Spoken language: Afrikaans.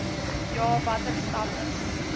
ja watter stappe